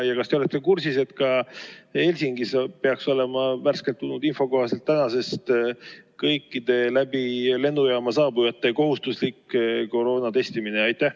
Ja kas te olete kursis, et ka Helsingis peaks olema värskelt tulnud info kohaselt tänasest kõikide lennujaama kaudu saabujate kohustuslik koroonatestimine?